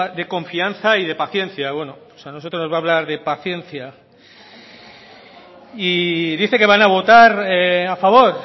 de confianza y de paciencia bueno a nosotros nos va a hablar de paciencia y dice que van a votar a favor